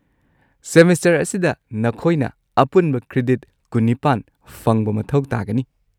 Semester ꯑꯁꯤꯗ ꯅꯈꯣꯏꯅ ꯑꯄꯨꯟꯕ ꯀ꯭ꯔꯦꯗꯤꯠ ꯀꯨꯟ-ꯅꯤꯄꯥꯟ ꯐꯪꯕ ꯃꯊꯧ ꯇꯥꯒꯅꯤ꯫